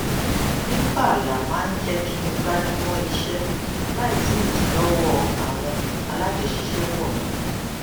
bí pààlà máa ń jẹ kí n gbájú mọ iṣẹ láì sí ìdílọwọ àwọn alájọṣiṣẹpọ mi